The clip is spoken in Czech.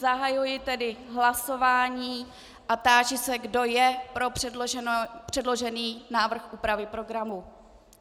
Zahajuji tedy hlasování a táži se, kdo je pro předložený návrh úpravy programu.